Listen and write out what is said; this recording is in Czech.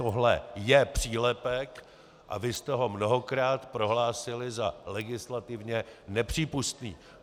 Tohle je přílepek a vy jste ho mnohokrát prohlásili za legislativně nepřípustný.